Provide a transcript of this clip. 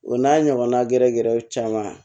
O n'a ɲɔgɔnna gɛrɛgɛrɛw caman